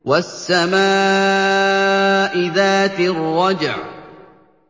وَالسَّمَاءِ ذَاتِ الرَّجْعِ